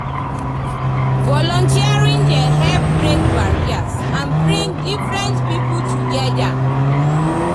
volunteering dey help break barriers and bring different people together.